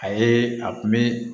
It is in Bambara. A ye a kun bɛ